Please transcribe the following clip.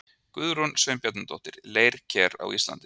Guðrún Sveinbjarnardóttir, Leirker á Íslandi.